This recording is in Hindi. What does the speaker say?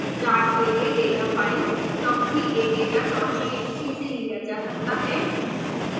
चार्ट के लिए डेटा फाइल companyadatatxt से लिया जा सकता है